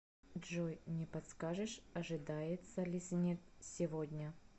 джой не подскажешь ожидается ли снег сегодня